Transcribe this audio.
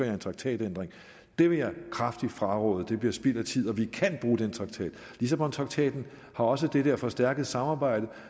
en traktatændring det vil jeg kraftigt fraråde det bliver spild af tid og vi kan bruge den traktat lissabontraktaten har også det der forstærkede samarbejde